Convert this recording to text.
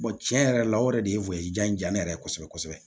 tiɲɛ yɛrɛ la o yɛrɛ de ye ja ne yɛrɛ ye kosɛbɛ kosɛbɛ